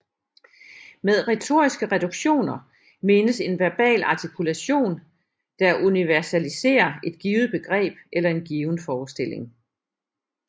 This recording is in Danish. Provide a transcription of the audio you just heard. Med retoriske reduktioner menes en verbal artikulation der universaliserer et givet begreb eller en given forestilling